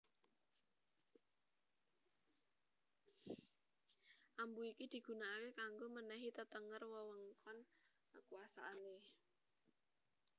Ambu iki digunakake kanggo menehi tetenger wewengkon kekuasaane